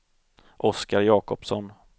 Oscar Jakobsson